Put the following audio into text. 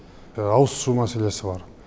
ауызсу мәселесі бар